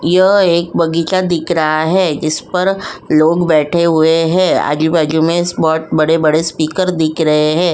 यह एक बगीचा दिख रहा है। जिस पर > लोग बैठे हुए हैं। आजू बाजू में बड़े-बड़े स्पीकर दिख रहे हैं।